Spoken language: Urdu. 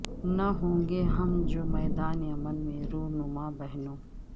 نہ ہوں گے ہم جو میدان عمل میں رونما بہنو